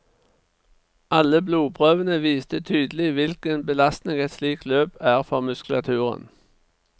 Alle blodprøvene viste tydelig hvilken belastning et slikt løp er for muskulaturen.